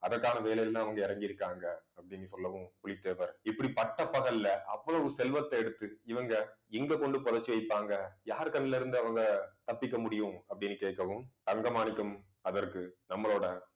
அதற்கான வேலையிலதான் அவங்க இறங்கி இருக்காங்க அப்படினு சொல்லவும் புலித்தேவர். இப்படி பட்டப்பகல்ல அவ்வளவு செல்வத்தை எடுத்து இவங்க இங்க கொண்டு புதைச்சு வைப்பாங்க யார் கண்ணுல இருந்து அவங்க தப்பிக்க முடியும் அப்படின்னு கேட்கவும் தங்க மாணிக்கம் அதற்கு நம்மளோட